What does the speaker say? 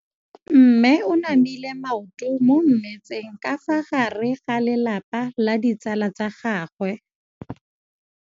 Mme o namile maoto mo mmetseng ka fa gare ga lelapa le ditsala tsa gagwe.